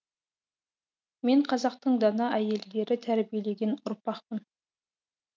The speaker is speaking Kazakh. мен қазақтың дана әйелдері тәрбиелеген ұрпақпын